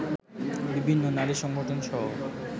বিভিন্ন নারী সংগঠনসহ